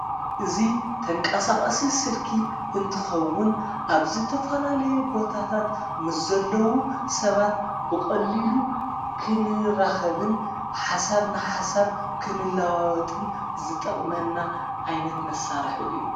እዙ ተንቃሳቐሲ ስልኪ እንትኸውን ኣብ ዝተፈላለየ ቦታታት ምስ ዘለዉ ሰባት ብቕሊሉ ክንራኸብን ሓሳብ ንሓሳብ ክንለዋወጥን ዝጠቕመና ዓይነት መሣርሕ እዩ።